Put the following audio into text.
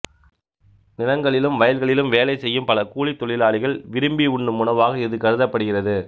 நிலங்களிலும் வயல்களிலும் வேலை செய்யும் பல கூலித் தொழிலாளிகள் விரும்பி உண்ணும் உணவாக இது கருதப்படுகிறது